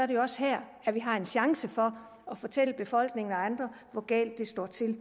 det jo også her vi har en chance for at fortælle befolkningen og andre hvor galt det står til